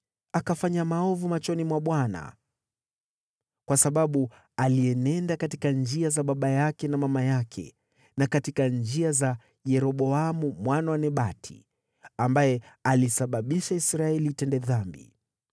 Akafanya maovu machoni mwa Bwana kwa sababu alienenda katika njia za baba yake na mama yake na katika njia za Yeroboamu mwana wa Nebati, ambaye alisababisha Israeli itende dhambi.